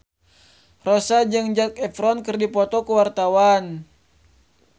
Rossa jeung Zac Efron keur dipoto ku wartawan